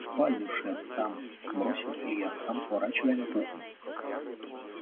в спальню шеф там бросил илья сам сворачивая на кухню